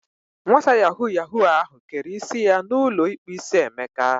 Nwata yahoo yahoo ahu kere isi ya na ulo ikpu isi Emeka.